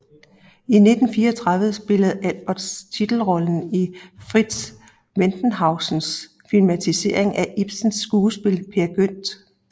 I 1934 spillede Albers titelrollen i Fritz Wendhausens filmatisering af Ibsens skuespil Peer Gynt